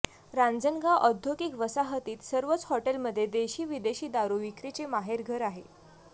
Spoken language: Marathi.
रांजणगाव औद्योगिक वसाहतीत सर्वच हॉटेलमध्ये देशी विदेशी दारू विक्रीचे माहेरघर आहे